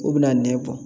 U bɛna nɛ kɔ